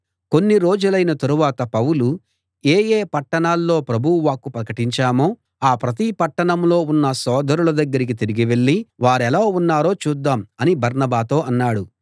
కొన్ని రోజులైన తరువాత పౌలు ఏ ఏ పట్టణాల్లో ప్రభువు వాక్కు ప్రకటించామో ఆ ప్రతి పట్టణంలో ఉన్న సోదరుల దగ్గరికి తిరిగి వెళ్ళి వారెలా ఉన్నారో చూద్దాం అని బర్నబాతో అన్నాడు